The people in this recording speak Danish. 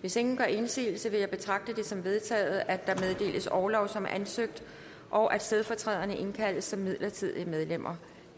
hvis ingen gør indsigelse vil jeg betragte det som vedtaget at der meddeles orlov som ansøgt og at stedfortræderne indkaldes som midlertidige medlemmer